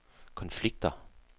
konflikter